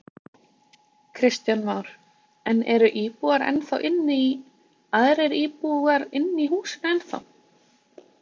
Kristján Már: En eru íbúar ennþá inni í, aðrir íbúar inni í húsinu ennþá?